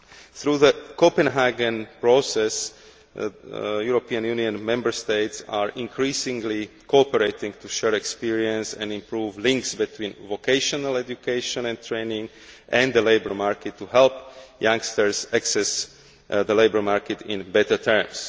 Through the Copenhagen Process, European Union Member States are increasingly cooperating to share experience and improve links between vocational education and training and the labour market to help youngsters access the labour market on better terms.